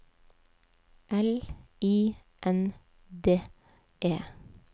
L I N D E